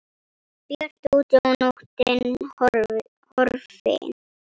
Bjart úti og nóttin horfin.